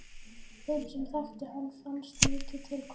Þeim sem þekktu hana fannst mikið til koma.